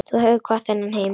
Þú hefur kvatt þennan heim.